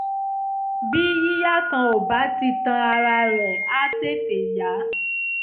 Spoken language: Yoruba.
bí bí yíya kan ò bá tíì tán ara rẹ̀ á tètè yá